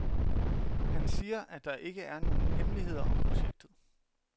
Han siger, at der ikke er nogen hemmeligheder om projektet.